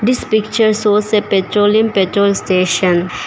This picture shows a petrolium petrol station.